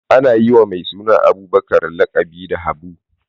Ana yi wa mai suna Abubakar laƙabi da Habu.